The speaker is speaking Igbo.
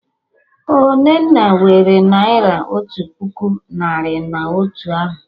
Ọ Nnenna nwere Naira otu puku narị na otu ahụ